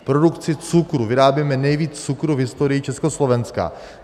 V produkci cukru - vyrábíme nejvíc cukru v historii Československa.